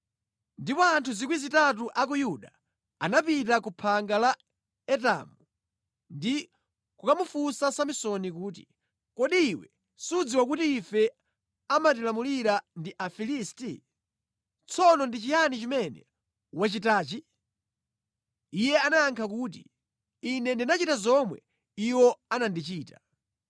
Ndipo anthu 3,000 a ku Yuda anapita ku phanga la Etamu, ndi kukamufunsa Samsoni kuti, “Kodi iwe sudziwa kuti ife amatilamulira ndi Afilisti? Tsono ndi chiyani chimene watichitachi?” Iye anayankha kuti, “Ine ndinachita zomwe iwo anandichita.”